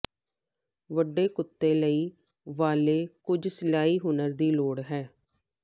ਵੱਡੇ ਕੁੱਤੇ ਲਈ ਵਾਲੇ ਕੁਝ ਸਿਲਾਈ ਹੁਨਰ ਦੀ ਲੋੜ ਹੈ